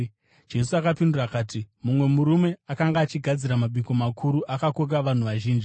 Jesu akapindura akati, “Mumwe murume akanga achigadzira mabiko makuru akakoka vanhu vazhinji.